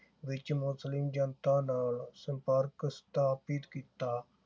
ਵਿਚ ਮੁਸਲਿਮ ਜਨਤਾ ਦਾ ਸੰਪਰਕ ਸਥਾਪਿਤ ਕੀਤਾ।